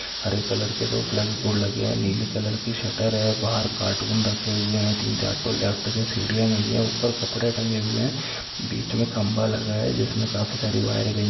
हरे colour के दो flag board लगे हैं नीली कलर की शटर है बाहर कार्टून रखे हुए हैं तीन चार तो लेफ्ट से सीढ़ियाँ गई हैं ऊपर कपड़े टंगे हुए हैं बीच में खंभा लगा है जिसमें काफी सारी वायरें गई --